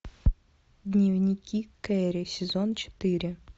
дневники кэрри сезон четыре